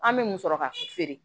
An bɛ mun sɔrɔ ka feere